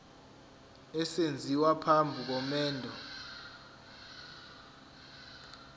esenziwa phambi komendo